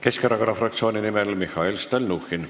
Keskerakonna fraktsiooni nimel Mihhail Stalnuhhin.